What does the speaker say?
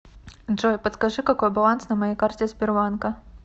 джой подскажи какой баланс на моей карте сбербанка